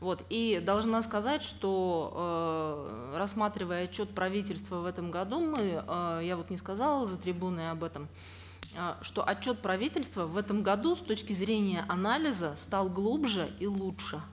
вот и должна сказать что эээ рассматривая отчет правительства в этом году мы э я вот не сказала за трибуной об этом э что отчет правительства в этом году с точки зрения анализа стал глубже и лучше